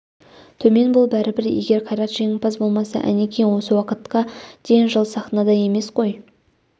төмен бол бәрібір егер қайрат жеңімпаз болмаса әнекей осы уақытқа дейін жыл саінада емес қой